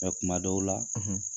kuma dɔw la